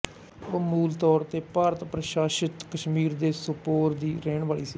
ਉਹ ਮੂਲ ਤੌਰ ਤੇ ਭਾਰਤਪ੍ਰਸ਼ਾਸਿਤ ਕਸ਼ਮੀਰ ਦੇ ਸੋਪੋਰ ਦੀ ਰਹਿਣ ਵਾਲੀ ਸੀ